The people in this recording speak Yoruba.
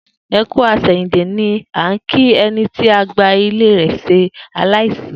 E kú àsèyìndè' ni à n kí eni tí àgbà ilé rè se aláìsí